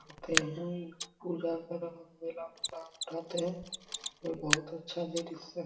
आते है उठा लाभ उठाते है ये बहुत अच्छा दृश्य --